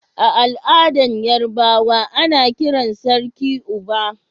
A al'adan Yorubawa, ana kiran sarkin"Oba."